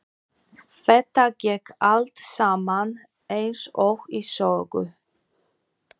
Þetta gekk allt saman eins og í sögu.